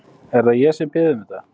Er það ég sem bið um þetta?